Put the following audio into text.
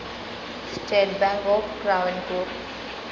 state bank of Travancore